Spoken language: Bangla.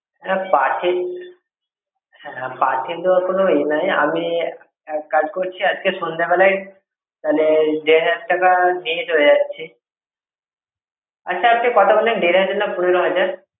পাঠিয়ে দেবার কোনো ইয়ে নেই আমি এক কাজ করছি, আজকে সন্ধ্যেবেলায় দেড় হাজার টাকা নিয়ে চলে যাচ্ছি। আচ্ছা আপনি কত বললেন? দেড় হাজার টাকা না পনেরো হাজার?